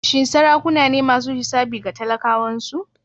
Shin sarakuna ne masu hisabi ga talakawansu?